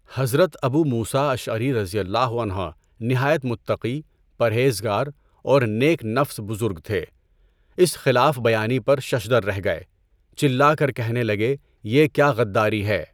حضرت Abu Musa Ashari رضی اللہ عنہ نہایت متقی، پرہیز گار اور نیک نفس بزرگ تھے۔ اس خلاف بیانی پر ششدر رہ گئے۔ چلا کر کہنے لگے، یہ کیا غداری ہے؟